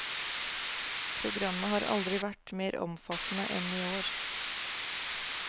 Programmet har aldri vært mer omfattende enn i år.